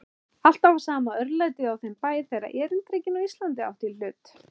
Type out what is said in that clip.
Alltaf var sama örlætið á þeim bæ, þegar erindrekinn á Íslandi átti í hlut.